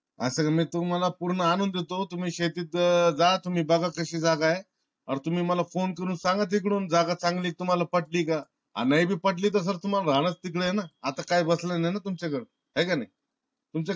आता मी तुम्ह्ळ पूर्ण आणून देतो. तुम्ही शेतीत जा बगा तुम्ही कशी जागा ये. अन तुम्ही मला phone करून सांगा तिकडून जागा चांगली ये का? तुम्हाला पट्टी ये का? अन नाय बी पटली तर तुम्हाला राहणंच तिकड ये ना. आता काय बचल नाय ना तुमच्या कड हाय का नाय. तुमच्या कड